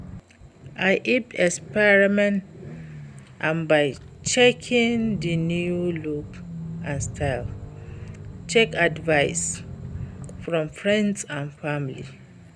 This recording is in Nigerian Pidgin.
I fit experiment am by checkng di new looks and styles, seek advice from friends and family.